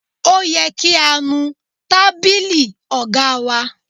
Ó yẹ kí á nu tábìlì ọ̀gá wa.